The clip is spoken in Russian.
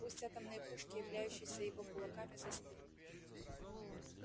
пусть атомные пушки являющиеся его кулаками застынут